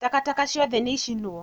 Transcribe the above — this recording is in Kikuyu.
Takataka ciothe nĩ icinwo